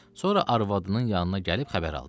Sonra arvadının yanına gəlib xəbər aldı.